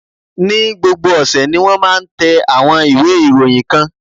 Ní gbogbo ọ̀sẹ̀ ni wón máa ń tẹ àwọn ìwé ìròyìn kan.